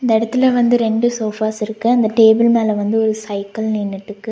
இந்த எடத்துல வந்து ரெண்டு சோஃபாஸ் இருக்கு. அந்த டேபிள் மேல வந்து ஒரு சைக்கிள் நின்னுட்டுக்கு.